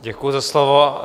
Děkuji za slovo.